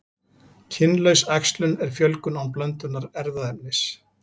Kynlaus æxlun er fjölgun án blöndunar erfðaefnis.